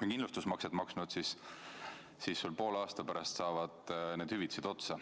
kindlustusmakset maksnud, siis poole aasta pärast saavad need hüvitised otsa.